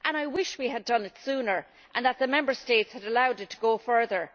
I wish we had done it sooner and that the Member States had allowed it to go further.